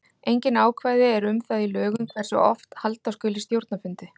Engin ákvæði eru um það í lögum hversu oft halda skuli stjórnarfundi.